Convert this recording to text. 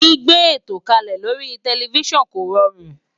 Gbígbé ètò kalẹ lórí tẹlifísàn kò rọrùn